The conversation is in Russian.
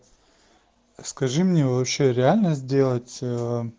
скажи мне вообще реально сделать